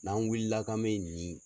N'an wulila k'an bɛ nin